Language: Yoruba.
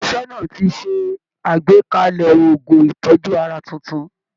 Ilé iṣẹ́ náà ti ṣe àgbékalẹ̀ oògùn ìtọ́jú ara tuntun